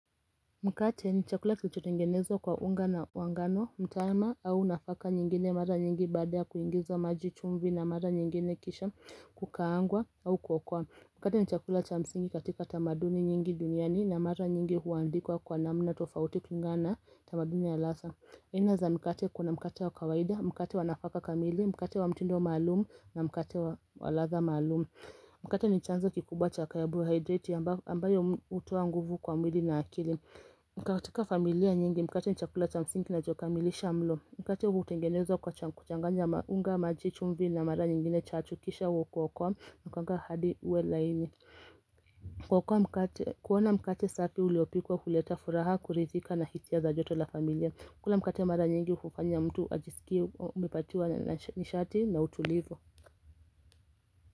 Mkate ni chakula kilichotengenezwa kwa unga wa ngano, mtama au nafaka nyingine mara nyingi baada kuingizwa maji, chumvi na mara nyingine kisha kukaangwa au kuokwa Mkate ni chakula cha msingi katika tamaduni nyingi duniani na mara nyingi huandikwa kwa namna tofauti kulingana tamaduni ya lasa aina za mkate kuna mkate wa kawaida, mkate wa nafaka kamili, mkate wa mtindo malumu na mkate wa ladha maalum Mkate ni chanzo kikubwa cha carbohydrate ambayo hutoa nguvu kwa mwili na akili katika familia nyingi mkate ni chakula cha msingi na cha kukamilisha mlo. Mkate hutengenezwa kwa kuchanganya unga, maji, chumvi na mara nyingine chachu. Kisha huekwa kwa kanga hadi uwe laini. Kwa kua kuona mkate safi uliopikwa huleta furaha kuridhika na hisia za joto la familia kula mkate mara nyingi hufanya mtu ajisikie umepatwa na nishati na utulivu.